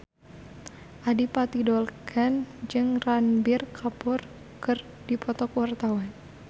Adipati Dolken jeung Ranbir Kapoor keur dipoto ku wartawan